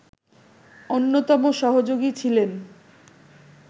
অন্যতম সহযোগী ছিলেন